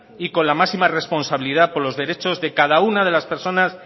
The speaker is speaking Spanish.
y con la máxima responsabilidad por los derechos de cada una de las personas